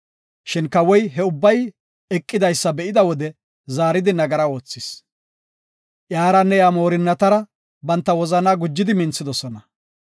Shin kawoy he ubbay eqidaysa be7ida wode zaaridi nagara oothis. Iyaranne iya moorinnatara banta wozana gujidi minthidosona.